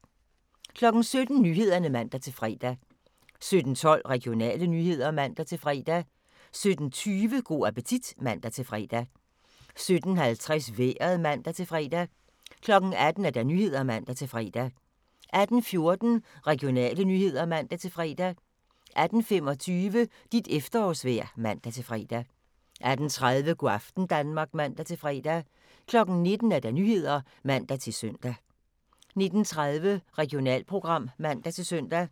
17:00: Nyhederne (man-fre) 17:12: Regionale nyheder (man-fre) 17:20: Go' appetit (man-fre) 17:50: Vejret (man-fre) 18:00: Nyhederne (man-fre) 18:14: Regionale nyheder (man-fre) 18:25: Dit efterårsvejr (man-fre) 18:30: Go' aften Danmark (man-fre) 19:00: Nyhederne (man-søn) 19:30: Regionalprogram (man-søn)